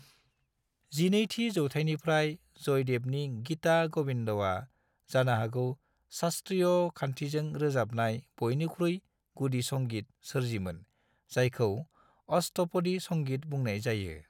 12थि जौथाइनिफ्राय जयदेवनि गीता गोविन्दआ जानोहागौ शास्त्रीय खान्थिजों रोजाबजानाय बयनिख्रुइ गुदि संगीत सोरजिमोन जायखौ अष्टपदी संगीत बुंनाय जायो।